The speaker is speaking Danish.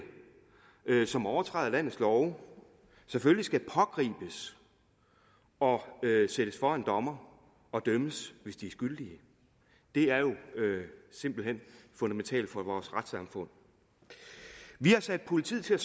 som overtræder landets love selvfølgelig skal pågribes og stilles for en dommer og dømmes hvis de er skyldige er jo simpelt hen fundamentalt for vores retssamfund vi har sat politiet til at